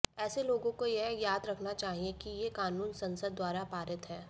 ऐसे लोगों को यह याद रखना चाहिए कि ये कानून संसद द्वारा पारित है